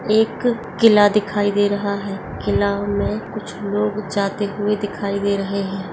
एक किला दिखाई दे रहा है किला में कुछ लोग जाते हुए दिखाई दे रहे हैं ।